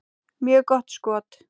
Mjög gott skot.